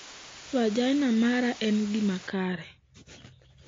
Vagina mara en gima kare.